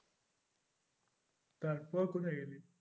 তারপর কোথায় গেলি?